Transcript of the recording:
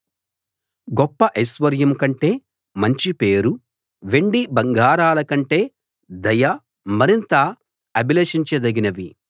గొప్ప ఐశ్వర్యం కంటే మంచి పేరు వెండి బంగారాలకంటే దయ మరింత అభిలషించ దగినవి